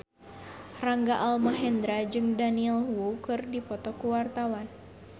Rangga Almahendra jeung Daniel Wu keur dipoto ku wartawan